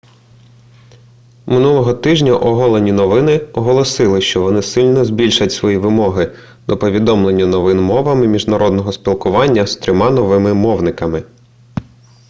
минулого тижня оголені новини оголосили що вони сильно збільшать свої вимоги до повідомлення новин мовами міжнародного спілкування з трьома новими мовниками